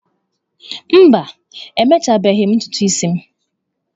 Mba, emechabeghị m ntutu isi m.